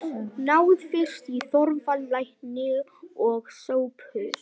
Náið fyrst í Þorvald lækni og Sophus.